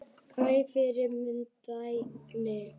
Kærð fyrir mútuþægni